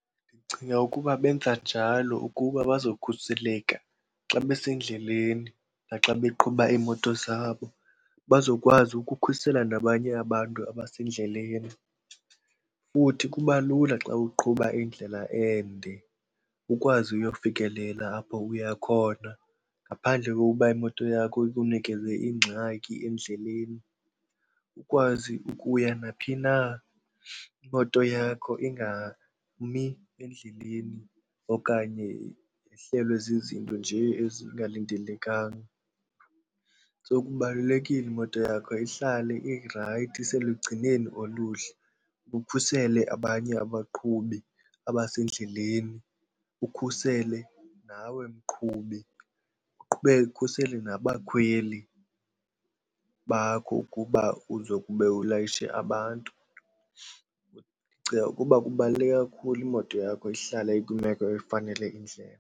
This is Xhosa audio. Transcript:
Ndicinga ukuba benza njalo ukuba bazokhuseleka xa besendleleni naxa beqhuba iimoto zabo, bazokwazi ukukhusela nabanye abantu abasendleleni. Futhi kuba lula xa uqhuba indlela ende ukwazi uyofikelela apho uya khona ngaphandle kokuba imoto yakho ikunikeze ingxaki endleleni. Ukwazi ukuya naphi na, imoto yakho ingami endleleni okanye yehlelwe zizinto nje ezingalindelekanga. So kubalulekile imoto yakho ihlale irayithi iselugcinweni oluhle ukhusele abanye abaqhubi abasendleleni, ukhusele nawe mqhubi, uqhubeke ukhusele nabakhweli bakho ukuba uzokube ulayishe abantu. Ndicinga ukuba kubaluleke kakhulu imoto yakho ihlale ikwimeko efanele indlela.